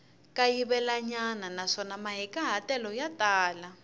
kayivelanyana naswona mahikahatelo ya tala